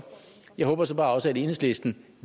jeg håber så bare også at enhedslisten